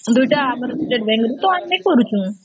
ଦୁଇଟା ଆମର state bank ରୁ ତ ଆମେ କରୁଚୁ